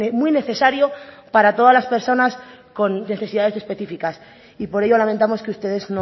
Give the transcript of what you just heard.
muy necesario para todas las personas con necesidades específicas y por ello lamentamos que ustedes